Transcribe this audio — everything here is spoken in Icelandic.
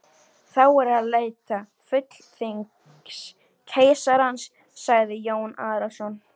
Þá er að leita fulltingis keisarans, sagði Jón Arason.